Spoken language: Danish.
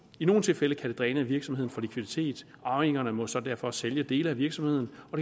i nogle tilfælde kan det dræne en virksomhed for likviditet arvingerne må så derfor sælge dele af virksomheden og